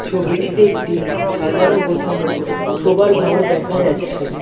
ছবিটিতে একটি সাজানো গোছানো সোবার ঘর দেখা যাচ্ছে।